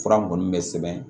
Fura mun bɛ sɛbɛn